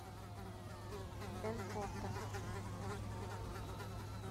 энфорта